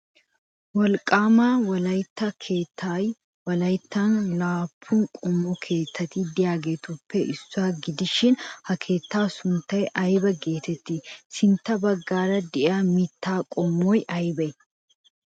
Wolqqaama wolaytta keettay wolayttan laappun qommo keettati de'iyageetuppe issuwa gidishin ha keettaa sunttay aybaa geetettii? Sintta baggaara de'iya mittaa qommoy aybee?